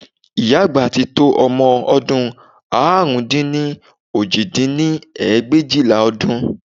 Ìyá àgbà ti tó ọmọ ọdún àrún dín ní òjì dín ní ẹgbẹ̀éjìlá ọdún